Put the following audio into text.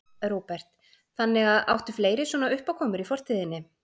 Róbert: Þannig að, áttu fleiri svona uppákomur í fortíðinni?